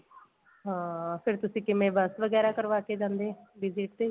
ਹਾਂ ਫੇਰ ਤੁਸੀਂ ਕਿਵੇਂ ਬੱਸ ਵਗੈਰਾ ਕਰਵਾ ਕੇ ਜਾਂਦੇ visit ਤੇ